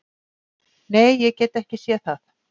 Nei, ég gat ekki séð það.